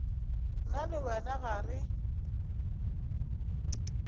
nna le wena ga re